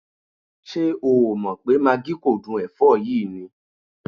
Ṣé o ò mọ̀ pé magí kò dún ẹ̀fọ́ yìí ni?